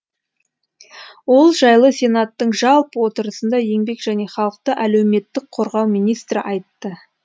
ол жайлы сенаттың жалпы отырысында еңбек және халықты әлеуметтік қорғау министрі айтты